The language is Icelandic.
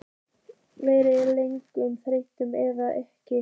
Verða leikmennirnir þreyttir eða ekki?